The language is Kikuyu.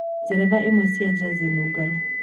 njethera ĩmwe cĩa jazi nungaru